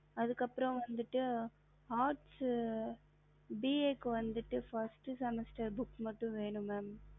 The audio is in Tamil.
அதுக்குஅப்புறம்வந்துட்டு arts ba க்கு வந்துட்டு first semester book க்கு மட்டும் வேணும் mam